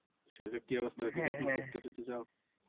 শরীরের কি অবস্থা ঘুরতে টুরতে যাও?